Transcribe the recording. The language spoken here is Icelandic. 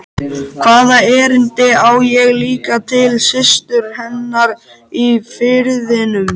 Hvaða erindi á ég líka til systur hennar í Firðinum?